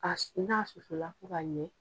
K'a su n'a susula fo ka ɲɛ